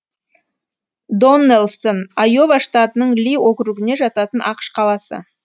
доннэлсон айова штатының ли округіне жататын ақш қаласы